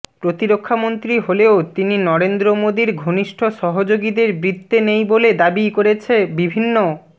প্রতিরক্ষামন্ত্রী হলেও তিনি নরেন্দ্র মোদীর ঘনিষ্ঠ সহযোগীদের বৃত্তে নেই বলে দাবি করেছে বিভিন্ন